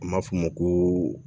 A ma f'o ma ko